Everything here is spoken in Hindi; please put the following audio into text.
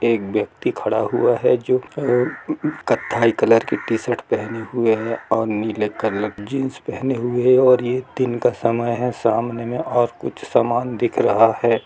एक व्यक्ति खड़ा हुआ है जो अह उम्म खताई कलर की टीशर्ट पहने हुई है और नीले कलर की जिन्स पहने हुई है और ये तीन का समय है सामने में और कुछ सामान दिख रहा है।